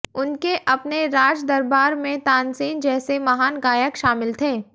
उनके अपने राज दरबार में तानसेन जैसे महान गायक शामिल थे